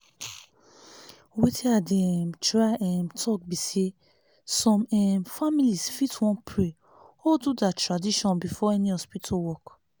wetin i dey um try um talk be saysome um families fit wan pray or do their tradition before any hospital work